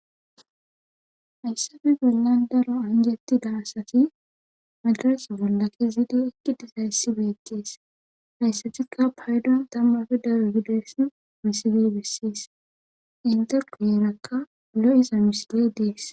hayssafe bollan daro anjettida asati madaras bollake ziidi ekki dizayssi beekkees hayssatikka paydon tammafe daro gides misiley bissis inteko yeerakka lo7iza misiley dees